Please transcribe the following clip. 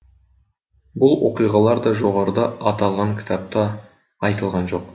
бұл оқиғалар да жоғарыда аталған кітапта айтылған жоқ